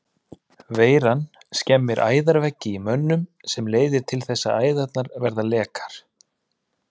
Veiran skemmir æðaveggi í mönnum sem leiðir þess að æðarnar verða lekar.